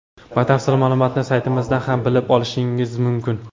Batafsil ma’lumotni saytimizdan ham bilib olishingiz mumkin .